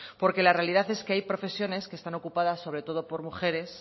porque la realidad es que ha profesiones que están ocupadas sobre todo por mujeres